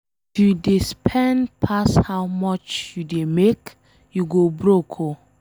If you dey spend pass how much you dey make, you go broke oo